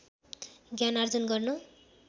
ज्ञान आर्जन गर्न